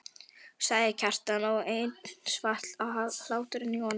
sagði Kjartan og enn svall hláturinn í honum.